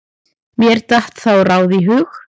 Mér datt þá ráð í hug.